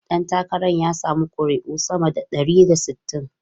Dan takarar ya samu kuri'u sama da ɗari da sittin.